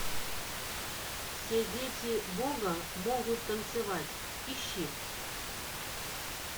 все дети бога могут танцевать ищи